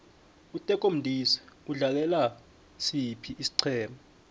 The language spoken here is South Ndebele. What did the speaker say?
uteko modise udlalela siphi isiqema